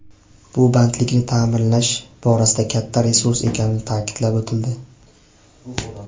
Bu bandlikni ta’minlash borasida katta resurs ekani ta’kidlab o‘tildi.